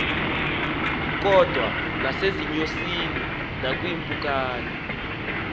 kodwa nasezinyosini nakwiimpukane